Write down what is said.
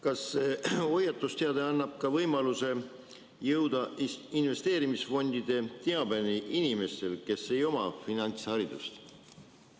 Kas hoiatusteade annab võimaluse jõuda investeerimisfondide teabeni ka inimestel, kes ei oma finantsharidust?